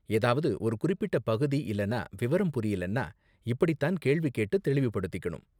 ஏதாவது ஒரு குறிப்பிட்ட பகுதி இல்லனா விவரம் புரியலன்னா இப்படிதான் கேள்வி கேட்டு தெளிவுபடுத்திக்கனும்.